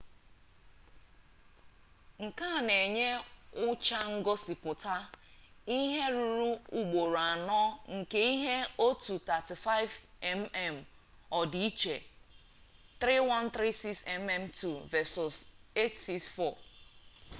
nke a na-enye ụcha ngosịpụta ihe ruru ugboro anọ nke ihe otu 35mm odi iche 3136 mm2 vesọs 864